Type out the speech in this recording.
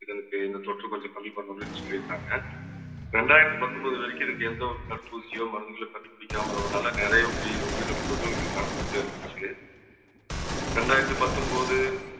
இதற்கு இந்த தொற்று கொஞ்சம் கம்மி பண்ணனும்ன்னு சொல்லியிருந்காங்க. ரெண்டாயிரத்தி பத்தொன்பது வரைக்கும் இருக்க எந்த ஒரு தடுப்பூசியோ மருந்துகளையோ கண்டுபிடிக்காம வருவதால நிறைய உயி~ உயிர் உயிரிழப்புகள் நடந்து கொண்டே இருந்துச்சு. ரெண்டாயிரத்தி பத்தொன்பது